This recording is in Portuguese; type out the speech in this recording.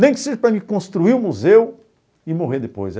Nem que seja para mim construir o museu e morrer depois.